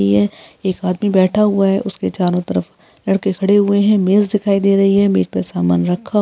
एक आदमी बैठा हुआ है। उसके चारों तरफ लड़के खड़े हुए है। मेज दिखाई दे रही है मेज पर समान रखा हुआ है।